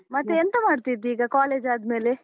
ಮತ್ತೆ ಎಂತ ಮಾಡ್ತಿದ್ದಿ ಈಗ, college ಆದ್ಮೇಲೆ?